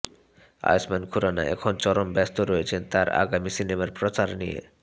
আয়ুষ্মান খুরানা এখন চরম ব্যস্ত রয়েছেন তাঁর আগামী সিনেমার প্রচার নিয়ে